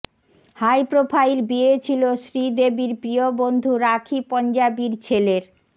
high profile বিয়ে ছিল শ্রীদেবির প্রিয় বন্ধু রাখি পঞ্জাবির ছেলের